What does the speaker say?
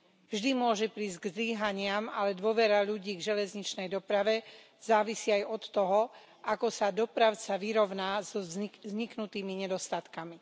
Vždy môže prísť k zlyhaniam, ale dôvera ľudí k železničnej doprave závisí aj od toho, ako sa dopravca vyrovná so vzniknutými nedostatkami.